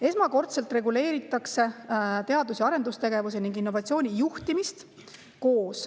Esmakordselt reguleeritakse teadus‑ ja arendustegevuse ning innovatsiooni juhtimist koos.